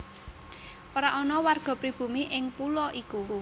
Ora ana warga pribumi ing pulo iku